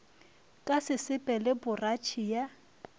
ka sesepe le poratšhe ya